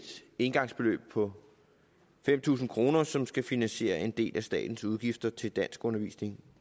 engangsbeløb på fem tusind kr som skal finansiere en del af statens udgifter til danskundervisning